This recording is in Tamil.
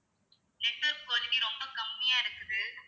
network quality ரொம்ப கம்மியா இருக்குது.